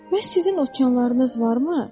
Bəs sizin okeanlarınız varmı?